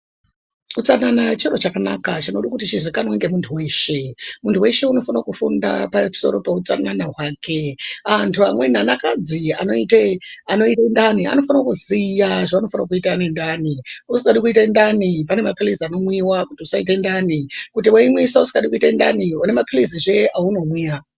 Utsanana chiro chakanaka chinoda kuti chizikanwe nemuntu weshe. Muntu weshe unofana kufunda pamusoro peutsanana hwake. Antu amweni anakadzi anoite ndani anofana kuziya zvavanofane kuita nendani. Usingadi kuite ndani vanomwe mapilizi anomwiwa kuti usaite ndani. Kuti weimwisa usingadi kuite ndani unomwa mapilizizve aunomwa.